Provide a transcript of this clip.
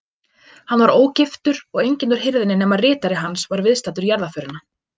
Hann var ógiftur og enginn úr hirðinni nema ritari hans var viðstaddur jarðarförina.